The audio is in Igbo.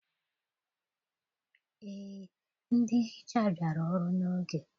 Eé, ndị nhicha bịara ọrụ n'oge